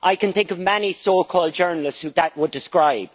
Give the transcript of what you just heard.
I can think of many so called journalists whom that would describe.